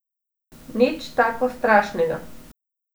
Nič tako strašnega.